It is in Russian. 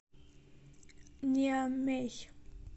ниамей